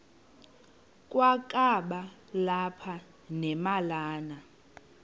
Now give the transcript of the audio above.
kwakaba lapha nemalana